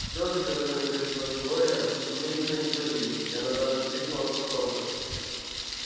слезы которыми грозила глория немедленно испарились и она даже вскрикнула от восторга